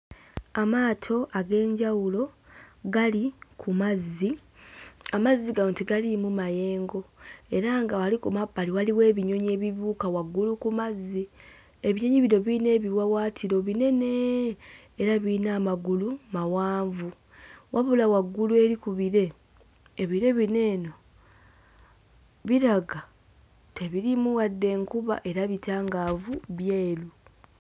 Amaato ag'enjawulo gali ku mazzi. Amazzi gano tegaliimu mayengo era nga wali ku mabbali waliwo ebinyonyi ebibuuka waggulu ku mazzi. Ebinyonyi bino birina ebiwawaatiro binene era birina amagulu mawanvu. Wabula waggulu eri ku bire, ebire bino eno biraga tebiriimu wadde enkuba era bitangaavu, byeru.